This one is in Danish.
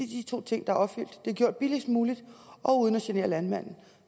de to ting er opfyldt nemlig at det er gjort billigst muligt og uden af genere landmanden